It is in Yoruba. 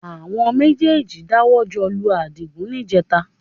Àwọn méjèèjì dáwọ́ jọ lu Àdìgún níjẹẹta